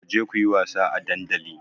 Ku je ku yi wasa a dandali!